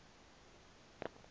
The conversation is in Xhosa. wathi unyana kuye